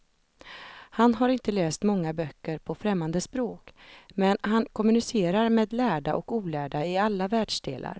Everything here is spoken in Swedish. Han har inte läst många böcker på främmande språk, men han kommunicerar med lärda och olärda i alla världsdelar.